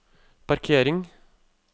parkering